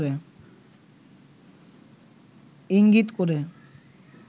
ইঙ্গিত করে